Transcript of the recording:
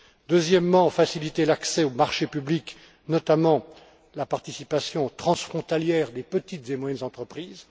Deuxièmement, faciliter l'accès au marché public, notamment la participation transfrontalière des petites et moyennes entreprises.